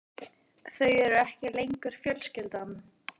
Þau eru ekki lengur fjölskyldan.